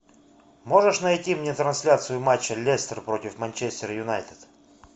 можешь найти мне трансляцию матча лестер против манчестер юнайтед